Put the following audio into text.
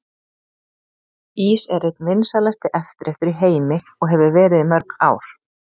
Ís er einn vinsælasti eftirréttur í heimi og hefur verið í mörg ár.